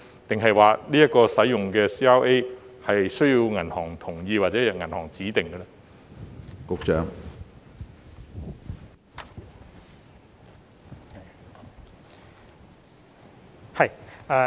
抑或所選用的 CRA 須經銀行同意或由銀行指定？